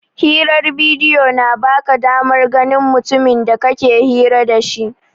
Hirar bidiyo na ba ka damar ganin mutumin da kake hira da shi.